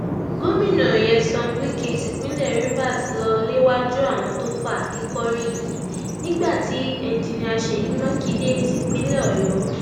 gomina nyesom wike tipinlẹ rivers lọ léwájú àwọn tó fàáké kọrí yìí nígbà tí enjinníà ṣeyí makinde tipinlẹ ọyọ